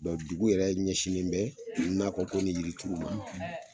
dugu yɛrɛ ɲɛsinnen bɛ nakɔ ko ni yirituru ma